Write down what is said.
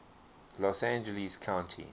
los angeles county